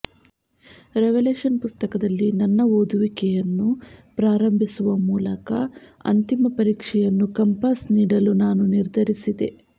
revelation ಪುಸ್ತಕದಲ್ಲಿ ನನ್ನ ಓದುವಿಕೆಯನ್ನು ಪ್ರಾರಂಭಿಸುವ ಮೂಲಕ ಅಂತಿಮ ಪರೀಕ್ಷೆಯನ್ನು ಕಂಪಾಸ್ ನೀಡಲು ನಾನು ನಿರ್ಧರಿಸಿದೆ